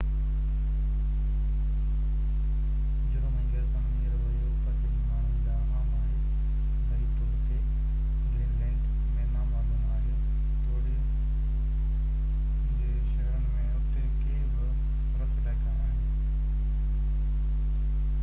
جرم ۽ غيرقانوني رويو پرڏيهي ماڻهن ڏانهن عام آهي بعيد طور تي گرينلينڊ ۾ نامعلوم آهي توڙي جو شهرن ۾ اتي ڪي به رف علائقا آهن